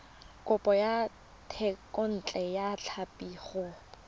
kopo ya thekontle tlhapi go